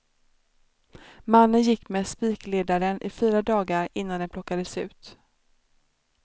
Mannen gick med spikledaren i fyra dagar innan den plockades ut.